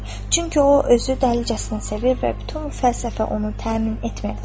Çünki o özü dəlicəsinə sevir və bütün bu fəlsəfə onu təmin etmirdi.